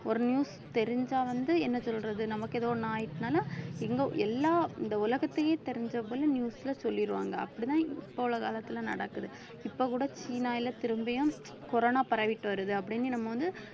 ஒரு news தெரிஞ்சா வந்து என்ன சொல்றது நமக்கு ஏதோ ஒண்ணு ஆயிடுச்சுன்னாலும் இங்க எல்லா இந்த உலகத்தையே தெரிஞ்ச போல news ல சொல்லிடுவாங்க அப்படிதான் இப்ப உள்ள காலத்துல நடக்குது இப்ப கூட சீனால திரும்பியும் corona பரவிட்டு வருது அப்படின்னு நம்ம வந்து